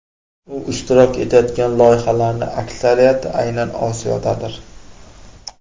U ishtirok etayotgan loyihalarning aksariyati aynan Osiyodadir.